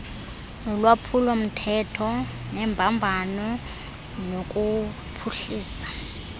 nolwaphulomthetho nembambano nokuphuhlisa